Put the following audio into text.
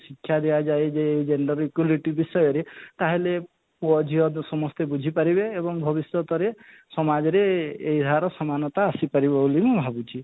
ଶିକ୍ଷା ଦିଆ ଯାଏ ଯେ ଏଇ gender equity ବିଷୟରେ ତାହେଲେ ତ ସମସ୍ତେ ବୁଝି ପାରିବେ ଏବଂ ଭବିଷ୍ୟତରେ ଏଇ ସମାଜରେ ଏହାର ସମାନତା ଆସି ପାରିବ ବୋଲି ମୁଁ ଭାବୁଛି